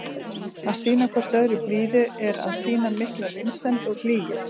Að sýna hvort öðru blíðu er að sýna mikla vinsemd og hlýju.